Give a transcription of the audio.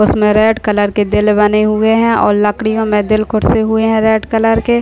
उसमे red colour के दिल बने हुए है और लकडियो मैं दिल खुरसे हुए हैं रेड कलर के।